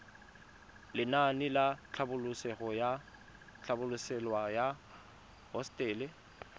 lenaane la tlhabololosewa ya hosetele